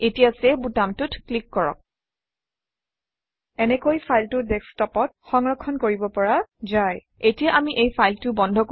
এতিয়া চেভ বুটামটোত ক্লিক কৰক এনেকৈ ফাইলটো ডেস্কটপত সংৰক্ষণ কৰিব পৰা যায় এতিয়া আমি এই ফাইলটো বন্ধ কৰোঁ